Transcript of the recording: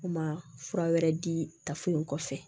U ma fura wɛrɛ di tafew kɔfɛ